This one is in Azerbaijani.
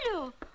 Alo!